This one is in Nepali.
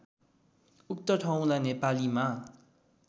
उक्त ठाउँलाई नेपालीमा